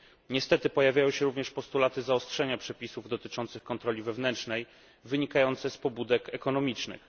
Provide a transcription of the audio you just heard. Niestety pojawiają się również postulaty zaostrzenia przepisów dotyczących kontroli wewnętrznej wynikające z pobudek ekonomicznych.